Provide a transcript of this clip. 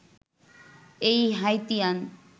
এই হাইতিয়ান